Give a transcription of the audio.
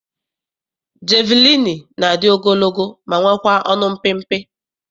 Jeviliini na-adị ogologo ma nwekwaa ọnụ mpịmpị.